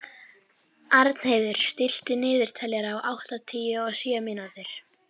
Árnheiður, stilltu niðurteljara á áttatíu og sjö mínútur.